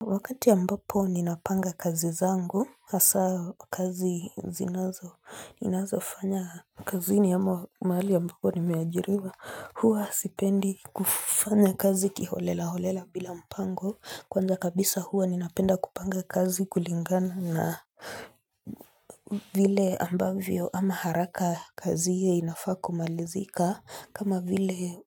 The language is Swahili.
Wakati ambapo ninapanga kazi zangu hasa kazi, ninazofanya kazini ama mahali ambako nimeajiriwa, hua sipendi kufanya kazi kiholela holela bila mpango, kwanza kabisa hua ninapenda kupanga kazi kulingana na vile ambavyo ama haraka kazi ye inafaa kumalizika kama vile